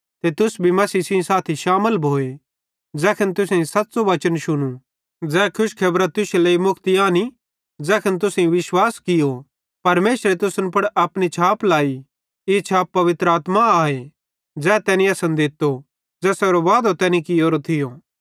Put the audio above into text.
ते तुस भी मसीह सेइं शामिल भोए ज़ैखन तुसेईं सच़्च़ू वचन शुनू ज़ै खुशखेबरां तुश्शे लेइ मुक्ति आनी ज़ैखन तुसेईं विश्वास कियो परमेशरे तुसन पुड़ अपनी छाप लाई ई छाप पवित्र आत्मा आए ज़ै तैनी असन दित्तो ज़ेसेरो वादो तैनी कियोरो थियो